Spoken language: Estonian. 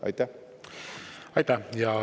Aitäh!